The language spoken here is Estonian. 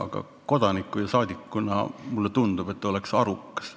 Ent kodaniku ja rahvasaadikuna mulle tundub, et oleks arukas.